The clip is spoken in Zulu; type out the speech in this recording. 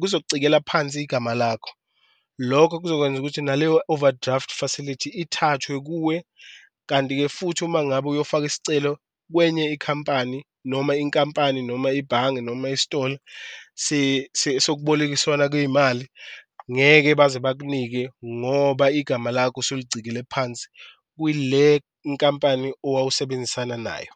kuzokucekela phansi igama lakho, lokho kuzokwenza ukuthi naleyo overdraft facility ithathwe kuwe. Kanti-ke futhi uma ngabe uyofaka isicelo kwenye ikhampani, noma inkampani, noma ibhange, noma istoli sokubolekiswana kweyimali ngeke baze bakunike ngoba igama lakho osulicikile phansi kwile nkampani owawusebenzisana nayo.